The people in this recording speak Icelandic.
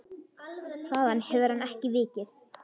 Þaðan hefur hann ekki vikið.